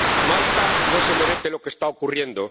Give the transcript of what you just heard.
Malta no se merece lo que está ocurriendo.